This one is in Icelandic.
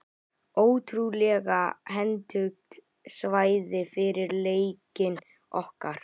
Ótrúlega hentugt svæði fyrir leikinn okkar.